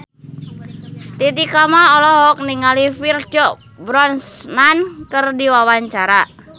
Titi Kamal olohok ningali Pierce Brosnan keur diwawancara